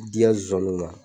D'i ka nsanunw ma